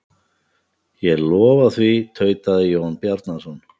Ég lofa því, tautaði Jón Bjarnason.